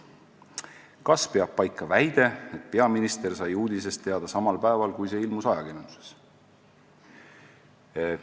"Kas peab paika väide, et peaminister sai uudisest teada samal päeval, kui see ilmus ajakirjanduses?